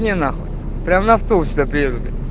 не нахуй прямо на автобусе сюда приеду бля